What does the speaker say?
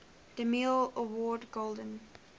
demille award golden